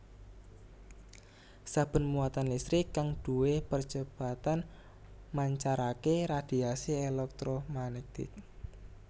Saben muatan listrik kang duwé percepatan mancarake radhiasi èlèktromagnetik